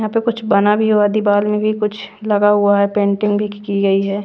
यहां पे कुछ बना भी हुआ दीवाल में भी कुछ लगा हुआ है पेंटिंग भी की गई है।